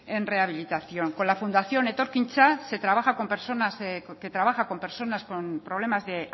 en rehabilitación con la fundación etorkintza que trabaja con personas con problemas de